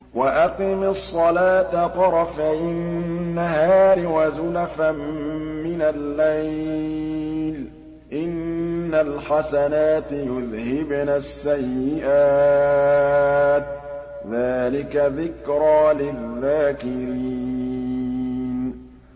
وَأَقِمِ الصَّلَاةَ طَرَفَيِ النَّهَارِ وَزُلَفًا مِّنَ اللَّيْلِ ۚ إِنَّ الْحَسَنَاتِ يُذْهِبْنَ السَّيِّئَاتِ ۚ ذَٰلِكَ ذِكْرَىٰ لِلذَّاكِرِينَ